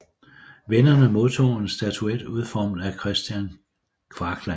Vinderne modtager en statuet udformet af Kristian Kvakland